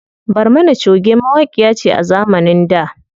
Barmana choge mawaƙiya ce a zamanin da.